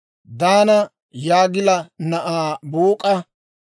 Daana Yoogila na'aa Buuk'a;